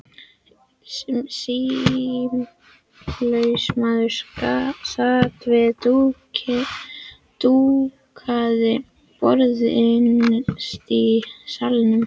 Sýslumaður sat við dúkað borð innst í salnum.